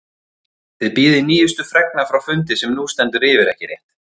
Þið bíðið nýjustu fregna frá fundi sem nú stendur yfir, ekki rétt?